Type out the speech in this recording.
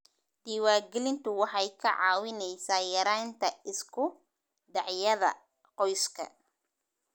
Diiwaangelintu waxay kaa caawinaysaa yaraynta isku dhacyada qoyska.